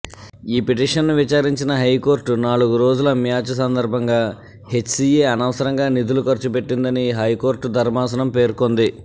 ఈ పిటిషన్ను విచారించిన హైకోర్టు నాలుగు రోజుల మ్యాచ్ సందర్భంగా హెచ్సిఏ అనవసరంగా నిధులు ఖర్చుపెట్టిందని హైకోర్టు ధర్మాసనం పేర్కొంది